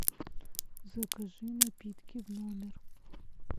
закажи напитки в номер